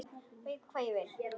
Veit hvað ég vil.